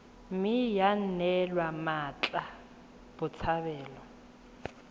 mme ya neelwa mmatla botshabelo